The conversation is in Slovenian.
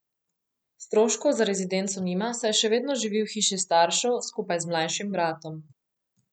Stroškov za rezidenco nima, saj še vedno živi v hiši staršev skupaj z mlajšim bratom.